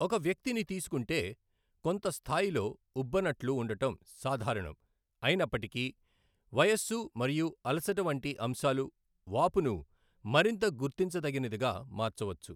ఒక వ్యక్తిని తీసుకుంటే, కొంత స్థాయిలో ఉబ్బనట్లు ఉండటం సాధారణం అయినప్పటికీ, వయస్సు మరియు అలసట వంటి అంశాలు వాపును మరింత గుర్తించతగినదిగా మార్చవచ్చు.